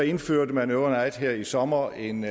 indførte man over night her i sommer en